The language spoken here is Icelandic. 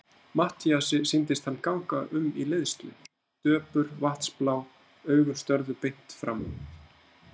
Matthíasi sýndist hann ganga um í leiðslu, döpur, vatnsblá augun störðu beint fram.